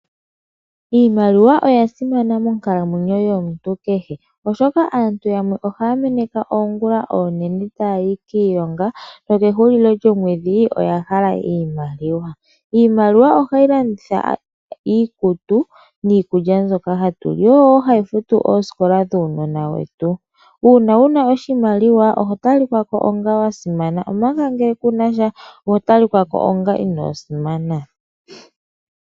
Iimaliwa oya simana monkalamwenyo yomuntu keshe oshoka aantu yamwe ohaya meneka oongula oonene tayayi kiilonga nokehulilo lyomwedhi oya hala iimaliwa. Iimaliwa ohayi landa iikutu niikulya mbyoka hatu li, yo oyo hayi futu oosikola dhuunona wetu, uuna wuna oshimaliwa oho talikwa ko wasimana omanga ngele kunasha oho talikwa ko onga ino simana.